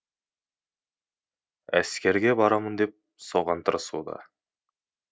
әскерге барамын деп соған тырысуда